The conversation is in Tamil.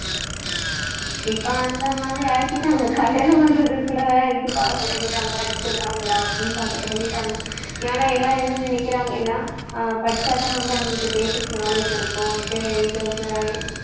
இப்ப அந்த மாதிரி ஆக்கிட்டாங்க கல்யாணம் பண்றதுக்கு கூட இது பண்ண தொடங்கிட்டாங்க படிச்சிருக்காங்களா அப்படின்னு பார்க்க தொடங்கிட்டாங்க ஏன்னா எல்லாரும் என்ன நினைக்கிறாங்கனா படிச்சாதான் வந்து அவங்களுக்கு basic knowledge இருக்கும்